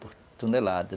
por tonelada.